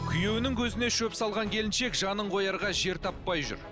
күйеуінің көзіне шөп салған келіншек жанын қоярға жер таппай жүр